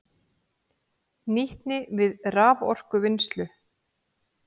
Nýtni við raforkuvinnslu